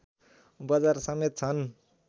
बजार समेत छन्